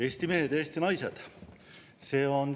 Eesti mehed, Eesti naised!